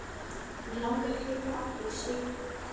Mig langar að flytja aftur í sveitina.